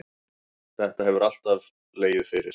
Þetta hefur alltaf legið fyrir.